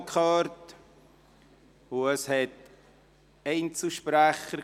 Es geht um einen Rahmenkredit 2020–2029.